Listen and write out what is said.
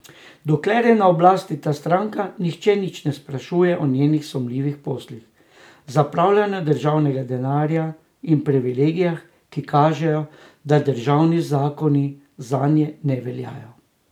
Dokler je na oblasti ta stranka, nihče nič ne sprašuje o njenih sumljivih poslih, zapravljanju državnega denarja in privilegijih, ki kažejo, da državni zakoni zanje ne veljajo.